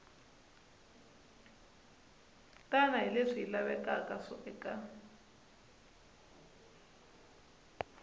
tani hi leswi lavekaka eka